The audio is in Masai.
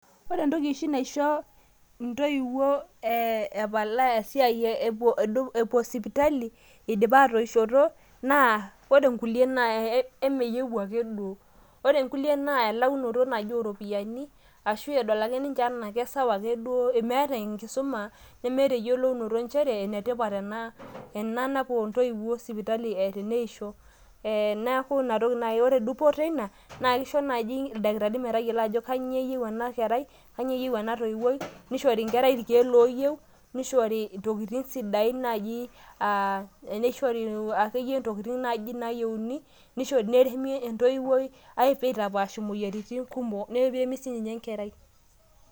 ore entoki oshi naisho intoiwuo epalaa esiai eitu epuo sipitali, idipa atoishoto, naa ore nkulie naa emeyieu ake duo. ore nkulie naa elaunoto naaji ooropiyiani, ashu edol ake ninche anaa kisawa akeduoo, meeta enkisuma, nemeeta eyiolounoto nchere enetipat ena napuo intoiwuo sipitali, ee teneisho, neku ina toki naaji, ore dupoto eina, naa kisho naaji ildakitarini metayiolo kanyioo eyeieu ina kerai, kanyioo eyieu entoiwoi, nishori entoiwuoi irkeek kumok aitapaash imoyiaritin, neremi sii ninye enkerai.